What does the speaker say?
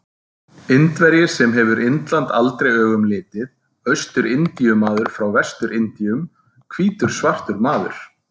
Indverji sem hefur Indland aldrei augum litið, Austur-Indíu-maður frá Vestur-Indíum, hvítur svartur maður.